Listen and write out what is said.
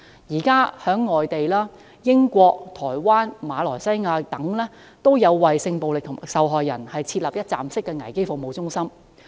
現時在外地如英國、台灣、馬來西亞等，均有為性暴力受害人設立一站式危機服務中心。